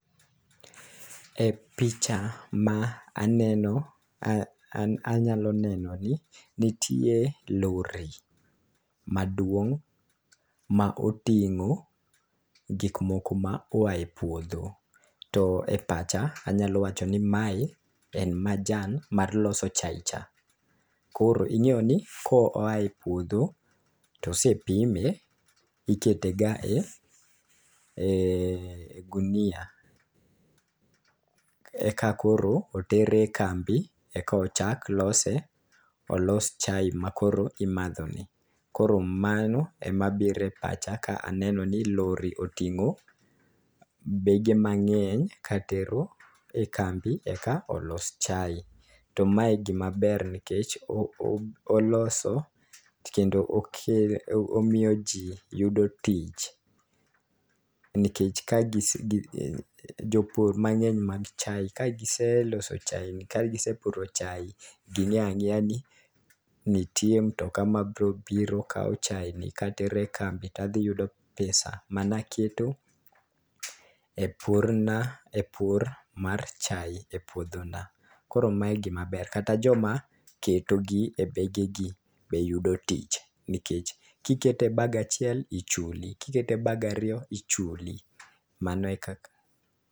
E picha ma aneno , anyalo neno ni ntie lori maduong' ma oting'o gik moko ma oaye puodho .To e pacha anyalo wacho ni mae en majan mar loso chai cha. Koro ing'eyo ni koae puodho to osepime ikete ga e gunia e ka koro otere kambi eko chak lose olos chai makoro imadho ni. Koro mano ema bire pacha ka aneno ni lori oting'o bege mang'eny katero e kambi eka olos chai. To mae gima ber nikech o oloso kendo o kelo omiyo jii yudo tich nikech ka gi jopur mang'eny mag chai .Ka giseloso chai kagisepuro chai ging'eya ng'eya ni ntie mtoka ma bro biro kawo chai ni katere kambi tadhi yudo pesa mano aketo epur na e pur mar chai e puodho nae. Koro mae gima ber kata joma keto gi e bege gi be yudo tich nikech kikete e bag achiel ichuli kikete bag ariyo ichuli mano e kaka